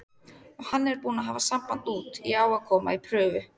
Og hann er búinn að hafa samband út, ég á að koma í prufu.